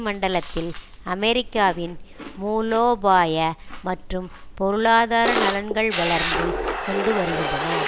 மண்டலத்தில் அமெரிக்காவின் மூலோபாய மற்றும் பொருளாதார நலன்கள் வளர்ந்து கொண்டு வருகின்றன